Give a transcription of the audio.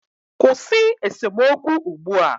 Kwụsị esemokwu ugbu a!